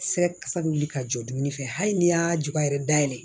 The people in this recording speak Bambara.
Sɛgɛsɛgɛli wuli ka jɔ dumuni fɛ hali ni y'a juga yɛrɛ dayɛlɛ